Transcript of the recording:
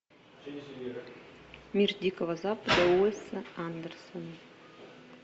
мир дикого запада уэса андерсона